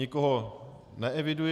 Nikoho neeviduji.